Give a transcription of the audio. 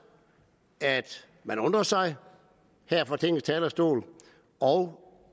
at man undrer sig her fra tingets talerstol og